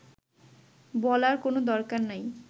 বলার কোনো দরকার নাই